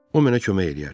O mənə kömək eləyər.